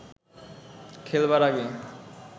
খেলবার আগে